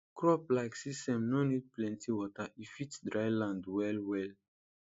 crop like sesame nor need plenty water e fit dryland well well